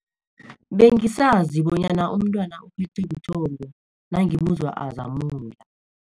Bengisazi bonyana umntwana uphethwe buthongo nangimuzwa azamula.